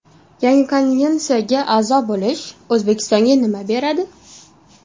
Yangi konvensiyaga a’zo bo‘lish O‘zbekistonga nima beradi?